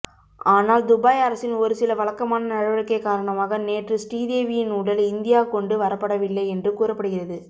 ஆனால் துபாய் அரசின் ஒருசில வழக்கமான நடவடிக்கை காரணமாக நேற்று ஸ்ரீதேவியின் உடல் இந்தியா கொண்டு வரப்படவில்லை என்று கூறப்படுகிறது